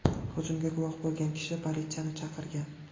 Hujumga guvoh bo‘lgan kishi politsiyani chaqirgan.